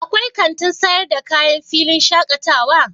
akwai kanti sayar da kaya a filin shakatawa?